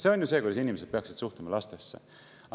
See on ju see, kuidas inimesed peaksid suhtuma lastesse.